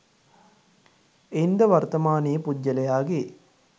එයින් ද වර්තමානයේ පුද්ගලයාගේ